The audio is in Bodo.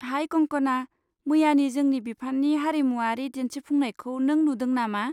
हाइ कंकना, मैयानि जोंनि बिफाननि हारिमुयारि दिन्थिफुंनायखौ नों नुदों नामा?